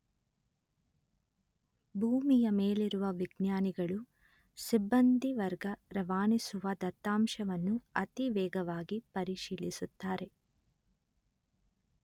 ಭೂಮಿಯ ಮೇಲಿರುವ ವಿಜ್ಞಾನಿಗಳು ಸಿಬ್ಬಂದಿ ವರ್ಗ ರವಾನಿಸುವ ದತ್ತಾಂಶವನ್ನು ಅತಿ ವೇಗವಾಗಿ ಪರಿಶೀಲಿಸುತ್ತಾರೆ